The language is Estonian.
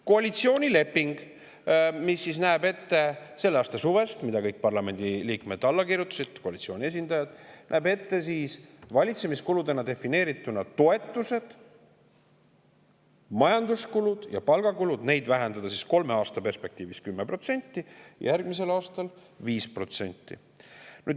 Koalitsioonileping selle aasta suvest, millele kõik koalitsiooni esindavad parlamendiliikmed alla kirjutasid, näeb ette valitsemiskuludena defineeritud toetusi, majanduskulusid ja palgakulusid vähendada kolme aasta perspektiivis 10% ja järgmisel aastal 5%.